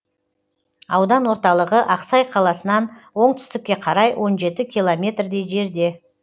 аудан орталығы ақсай қаласынан оңтүстікке қарай он жеті километрдей жерде